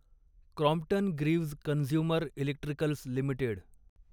Crompton Greaves consumer electricals limited